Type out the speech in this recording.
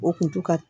O kun to ka